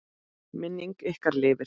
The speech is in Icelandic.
Minning ykkar lifir.